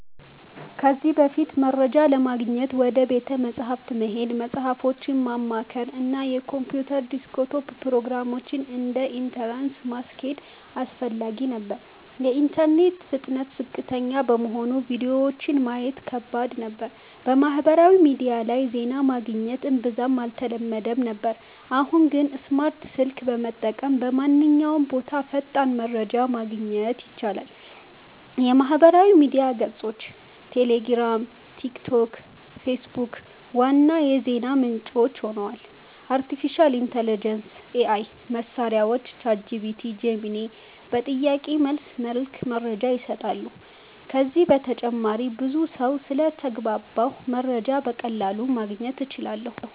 ከዚህ በፊት፦ መረጃ ለማግኘት ወደ ቤተ መጻሕፍት መሄድ፣ መጽሃፎችን ማማከር፣ እና የኮምፒውተር ዴስክቶፕ ፕሮግራሞችን (እንደ Encarta) ማስኬድ አስፈላጊ ነበር። የኢንተርኔት ፍጥነት ዝቅተኛ በመሆኑ ቪዲዮዎችን ማየት ከባድ ነበር። በማህበራዊ ሚዲያ ላይ ዜና ማግኘት እምብዛም አልተለመደም ነበር። አሁን ግን፦ ስማርት ስልክ በመጠቀም በማንኛውም ቦታ ፈጣን መረጃ ማግኘት ይቻላል። የማህበራዊ ሚዲያ ገጾች (ቴሌግራም፣ ቲክቶክ፣ ፌስቡክ) ዋና የዜና ምንጭ ሆነዋል። አርቲፊሻል ኢንተሊጀንስ (AI) መሳሪያዎች (ChatGPT, Gemini) በጥያቄ መልስ መልክ መረጃ ይሰጣሉ። ከዚህ በተጨማሪም ብዙ ሰው ስለተግባባሁ መረጃን በቀላሉ ማግኘት እችላለሁ